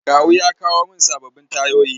Kawu ya kawo mun sababbin tayoyi.